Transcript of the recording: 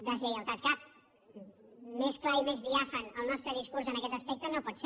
deslleialtat cap més clar i més diàfan el nostre discurs en aquest aspecte no pot ser